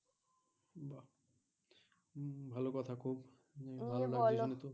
ভালো কথা খুব দিয়ে বলো